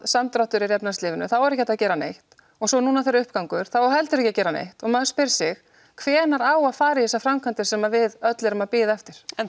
samdráttur er í efnahagslífinu er ekki hægt að gera neitt og svo nú þegar uppgangur þá á heldur ekki að gera neitt og maður spyr sig hvenær á að fara í þessar framkvæmdir sem við öll erum að bíða eftir en